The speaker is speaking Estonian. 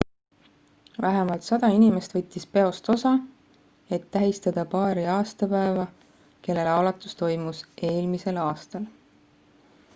vähemalt 100 inimest võttis peost osa et tähistada paari aastapäeva kelle laulatus toimus eelmisel aastal